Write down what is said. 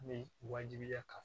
Ni wajibiya kama